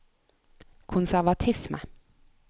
konservatisme